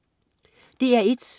DR1: